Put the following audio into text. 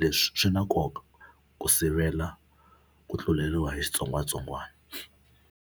leswi swi na nkoka ku sivela ku tluleriwa hi xitsongwatsongwana.